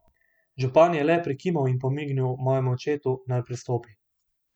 Župan je le prikimal in pomignil mojemu očetu, naj pristopi.